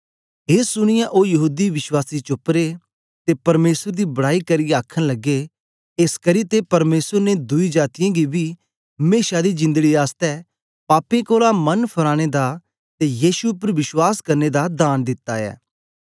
ए सुनीयै ओ यहूदी विश्वासी चुप रे ते परमेसर दी बड़ाई करियै आखन लगे एसकरी ते परमेसर ने दुई जातीयें गी बी मेशा दी जिंदड़ी आसतै पापें कोलां मन फराने दा ते यीशु उपर विश्वास करने दा दान दिता ऐ